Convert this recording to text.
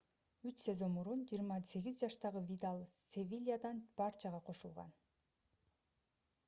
үч сезон мурун 28 жаштагы видаль севильядан барчага кошулган